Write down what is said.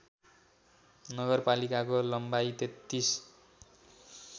नगरपालिकाको लम्बाइ ३३